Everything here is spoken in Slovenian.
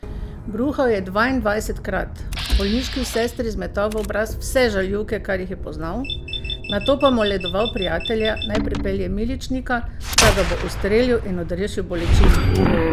Bruhal je dvaindvajsetkrat, bolniški sestri zmetal v obraz vse žaljivke, kar jih je poznal, nato pa moledoval prijatelja, naj pripelje miličnika, da ga bo ustrelil in odrešil bolečin.